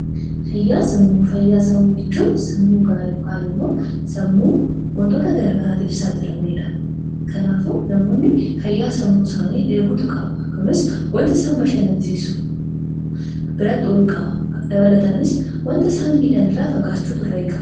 Fayyaa sammuu: Fayyaa sammuu jechuun sammuu gaarii yookaan immoo sammuu wantoota garaagaraatiif hin saaxilamneedha. Kanaafuu namoonni fayyaa sammuu isaanii eegachuu qabu. Kunis waanta isaan bashannansiisu bira ooluu qabu. Dabalataanis waanta isaan miidhaan irraa fagaachuutu irraa eegama.